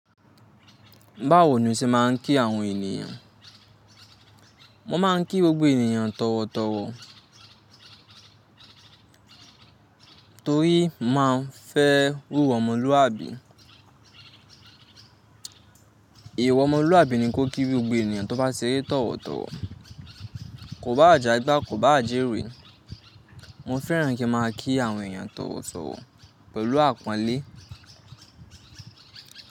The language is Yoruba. Báwo ni o ṣe máa ń kí àwọn ènìyàn? Mo máa ń kí gbogbo ènìyàn tọ̀wọ̀tọ̀wọ̀ torí màá ń fẹ́ wúwa ọmọlúwàbí. Èèwọ̀ ọmọlúwàbí ni kó kí gbogbo ènìyàn tó bá ṣeré tọ̀wọ̀tọ̀wọ̀. Kò báà jàgbá, kò báà jẹ́ wẹ Mo fẹ́ràn kí máa kí àwọn ènìyàn tọ̀wọ̀tọ̀wọ̀ pẹ̀lú àpọ́nlé.